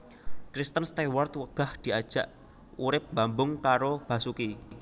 Kristen Stewart wegah dijak urip mbambung karo Basuki